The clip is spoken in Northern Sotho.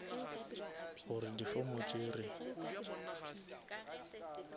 gore di form tše re